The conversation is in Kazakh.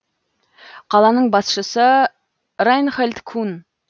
қаланың басшысы райнхольд кун